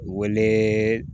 Wele